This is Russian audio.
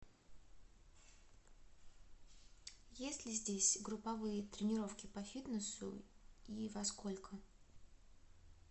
есть ли здесь групповые тренировки по фитнесу и во сколько